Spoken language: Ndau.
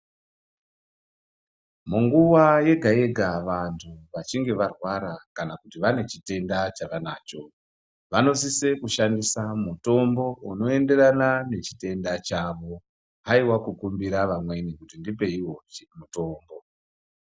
Munguwa yega yega vantu vachinge varwara kana kuti vane chitenda chavanacho vanosise kushandisa mutombo unoenderana nechitenda chavo haiwa kukumbira vamweni kuti ndipeiwo mutombo.